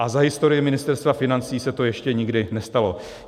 A za historii Ministerstva financí se to ještě nikdy nestalo.